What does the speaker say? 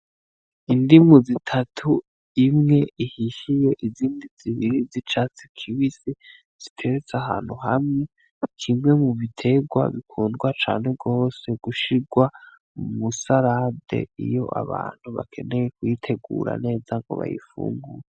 Indimu zitatu imwe ihishiye izindi zibiri zicatsi kibisi ziteretse ahantu hamwe n'ikimwe mu biterwa bikundwa cane gose gushirwa mwisarade iyo abantu bakeneye kuyitegura neza ngo bayifungure.